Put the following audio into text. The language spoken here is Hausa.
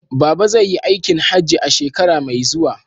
Baba zai yi aikin hajji a shekara mai zuwa.